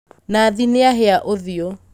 Nathi nĩahĩa ũthiũ